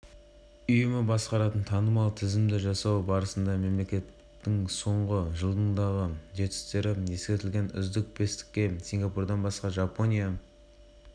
сингапур математика ғылым мен кітап оқу бойынша білім саласындағы халықаралық рейтингте топ бастап тұр деп хабарлады